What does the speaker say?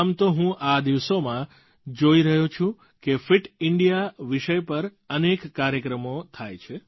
આમ તો હું આ દિવસોમાં જોઈ રહ્યો છું કે ફિટ ઇન્ડિયા વિષય પર અનેક કાર્યક્રમો થાય છે